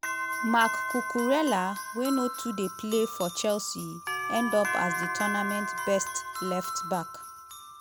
marc cucurella wey no too dey play for chelsea end up as di tournament best left-back.